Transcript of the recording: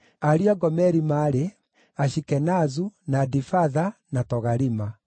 Ariũ a Gomeri maarĩ: Ashikenazu, na Difatha, na Togarima.